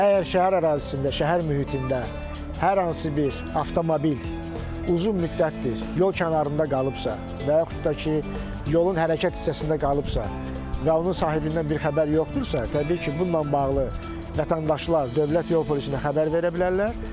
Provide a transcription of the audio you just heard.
Əgər şəhər ərazisində, şəhər mühitində hər hansı bir avtomobil uzun müddətdir yol kənarında qalıbsa və yaxud da ki, yolun hərəkət hissəsində qalıbsa və onun sahibindən bir xəbər yoxdursa, təbii ki, bununla bağlı vətəndaşlar dövlət yol polisinə xəbər verə bilərlər.